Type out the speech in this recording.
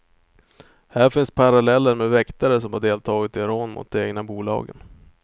Här finns paralleller med väktare som har deltagit i rån mot de egna bolagen.